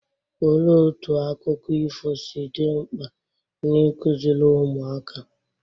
Olee otú akụkọ ifo si dị mkpa na ikụziri ụmụaka?